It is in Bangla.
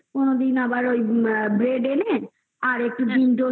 লুচি আলু ভাজা দি কোনোদিন chowmin করেদি কোনোদিন আবার ওই bread এনে আর একটু খানি ডিম